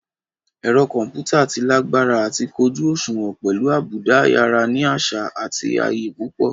Ẹ̀rọ kọ̀ḿpútà tí lágbára àti kójú òṣùwọ̀n pẹ̀lú àbùdá ayára ní àṣà àti ayé púpọ̀